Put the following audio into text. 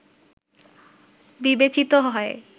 বিবেচিত হয়